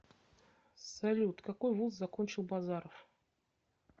салют какой вуз закончил базаров